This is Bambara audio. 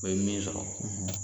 O ye min sɔrɔ